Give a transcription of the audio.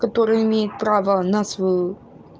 который имеет право на свою